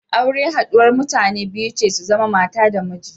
Aure haɗuwar mutane biyu ce su zama mata da miji.